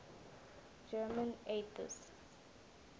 german atheists